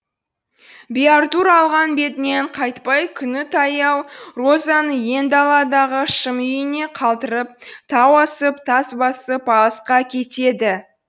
биартур алған бетінен қайтпай күні таяу розаны иен даладағы шым үйіне қалдырып тау асып тас басып алысқа кетеді